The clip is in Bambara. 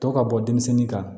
Tɔ ka bɔ denmisɛnnin kan